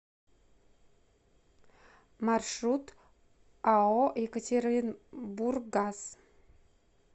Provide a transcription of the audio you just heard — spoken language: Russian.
маршрут ао екатеринбурггаз